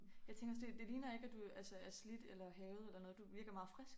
Jeg tænker også det det ligner ikke at du altså er slidt eller hærget eller noget du virker meget frisk